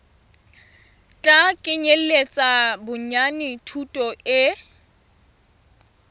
tla kenyeletsa bonyane thuto e